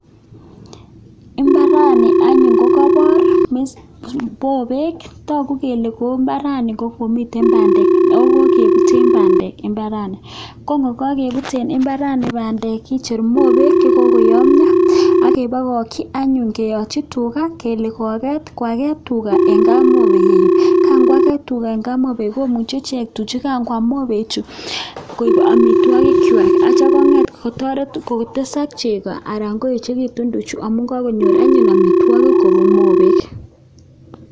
mbarani kokaipor anyun mopek ako kokipute pandek mbarani kecheru mopek chekokoyamya akepakakchi tuga anyun sokwam ako aketyo kongopiangya tuga komuch kotesakik chego akoechikitu tuga.